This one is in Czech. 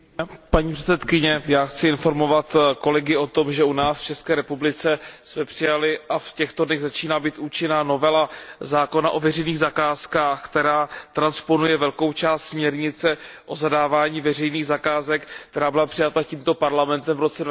Paní předsedající, já chci informovat kolegy o tom, že u nás v České republice jsme přijali a v těchto dnech začíná být účinná novela zákona o veřejných zakázkách, která transponuje velkou část směrnice o zadávání veřejných zakázek, která byla přijata tímto Parlamentem v roce